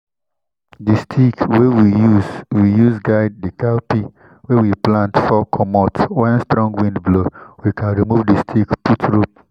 the stick wey we use we use guide the cowpea wey we plant fall commot wen strong wind blow—we con remove the stick put rope.